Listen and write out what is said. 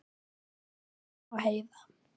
Guðjón og Heiða.